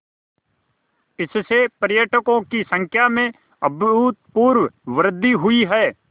इससे पर्यटकों की संख्या में अभूतपूर्व वृद्धि हुई है